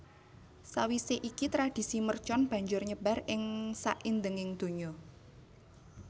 Sawisé iki tradhisi mercon banjur nyebar ing saindenging donya